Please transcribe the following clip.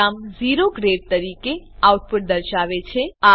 programme ઓ grade તરીકે output દર્શાવશે